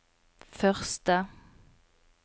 første